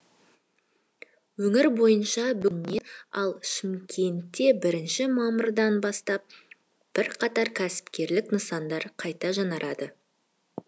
өңір бойынша бүгіннен ал шымкентте бірінші мамырдан бастап бірқатар кәсіпкерлік нысандар қайта жаңғырады